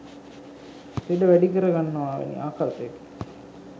ලෙඩ වැඩි කර ගන්නවා වැනි ආකල්පයකි.